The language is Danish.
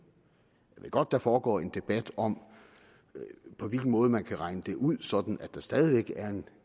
godt der foregår en debat om på hvilken måde man kan regne det ud sådan at der stadig væk er en